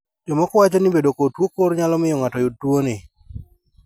Jokmoko wacho ni bedo kod tuo kor nyalo miyo ng`ato yud tuoni.